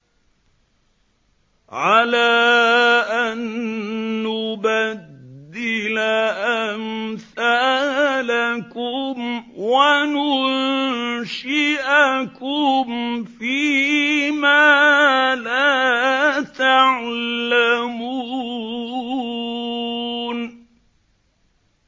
عَلَىٰ أَن نُّبَدِّلَ أَمْثَالَكُمْ وَنُنشِئَكُمْ فِي مَا لَا تَعْلَمُونَ